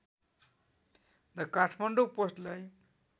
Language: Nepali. द काठमाडौँ पोस्टलाई